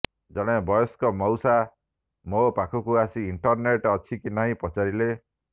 ଜଣେ ବୟସ୍କ ମଉସା ମୋ ପାଖକୁ ଆସି ଇଣ୍ଟରନେଟ୍ ଅଛି କି ନାହିଁ ପଚାରିଲେ